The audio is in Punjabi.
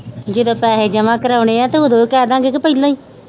ਜਦੋ ਪੈਸੇ ਜਮਾ ਕਰਾਉਣੇ ਆ ਤੇ ਓਦੋ ਕਹਿ ਦਾ ਗੇ ਕੇ ਪਹਿਲਾ ਹੀ